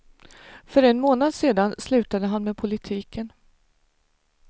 För en månad sedan slutade han med politiken.